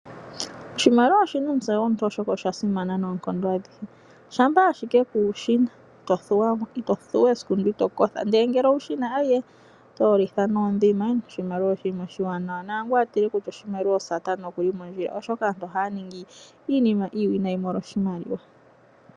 Oshimaliwa oshi na omutse gomuntu oshoka osha simana noonkondo aluhe uuna kuushi na ito thuwa esiku lyoka ito kotha ashike ngele owu shi na oto yolitha noondhi. Oshimaliwa oshinima oshiwanawa naangu a tile kutya oshimaliwa osatana okuli mondjila oshoka aantu ohaya ningi iinima iiwinayi molwa oshimaliwa.